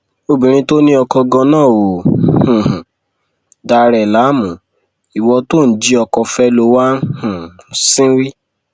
obìnrin tó ní oko ganan ò um dà ẹ láàmú ìwo tó ò ń jí ọkọ fẹ ló wáá um ń sìnwìn